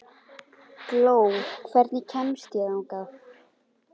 Gló, hvernig kemst ég þangað?